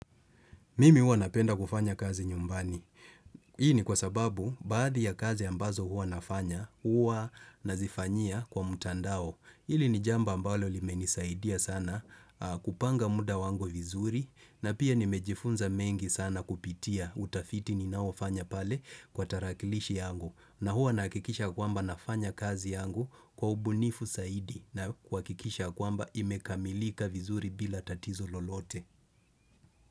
Mimi huwa napenda kufanya kazi nyumbani. Hii ni kwa sababu, baadhi ya kazi ambazo huwa nafanya, huwa nazifanyia kwa mutandao. Hili ni jambo mbalo limenisaidia sana kupanga muda wangu vizuri, na pia nimejifunza mengi sana kupitia utafiti ninaoufanya pale kwa tarakilishi yangu. Na huwa nahakikisha ya kwamba nafanya kazi yangu kwa ubunifu zaidi na kuhakikisha ya kwamba imekamilika vizuri bila tatizo lolote.